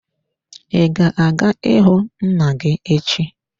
I ga-aga ịhụ nna gị echi.